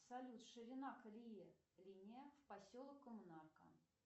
салют ширина колеи линия в поселок коммунарка